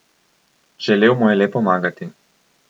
Želel mu je le pomagati.